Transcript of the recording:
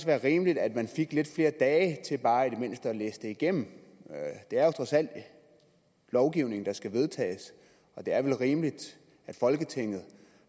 være rimeligt at man fik lidt flere dage til bare i det mindste at læse det igennem det er trods alt lovgivning der skal vedtages og det er vel rimeligt at folketinget